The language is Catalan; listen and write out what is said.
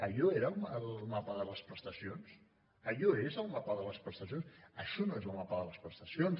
allò era el mapa de les prestacions allò és el mapa de les prestacions això no és el mapa de les prestacions